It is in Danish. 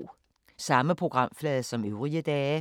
Samme programflade som øvrige dage